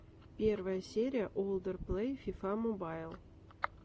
первая серия олдер плэй фифа мобайл